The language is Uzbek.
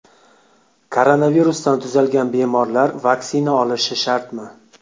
Koronavirusdan tuzalgan bemorlar vaksina olishi shartmi?